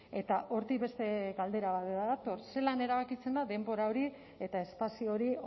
eta hortik beste galdera bat dator zelan erabakitzen da denbora hori eta espazio hori